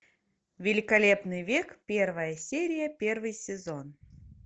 великолепный век первая серия первый сезон